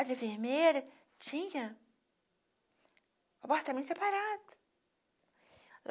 A enfermeira tinha apartamento separado.